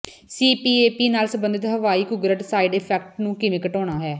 CPAP ਨਾਲ ਸਬੰਧਤ ਹਵਾਈ ਘੁੰਗਰਟ ਸਾਈਡ ਇਫੈਕਟਸ ਨੂੰ ਕਿਵੇਂ ਘਟਾਉਣਾ ਹੈ